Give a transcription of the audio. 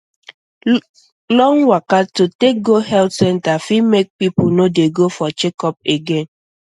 long waka to take go health center fit make people no dey go for checkup again